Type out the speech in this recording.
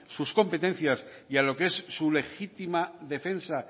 sus competencias y a lo que es su legítima defensa